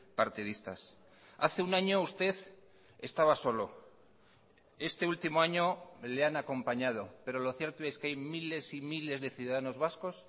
partidistas hace un año usted estaba solo este último año le han acompañado pero lo cierto es que hay miles y miles de ciudadanos vascos